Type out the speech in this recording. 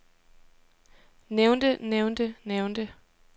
nævnte nævnte nævnte